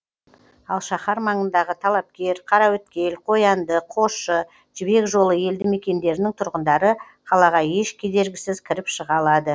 ал шаһар маңындағы талапкер қараөткел қоянды қосшы жібек жолы елді мекендерінің тұрғындары қалаға еш кедергісіз кіріп шыға алады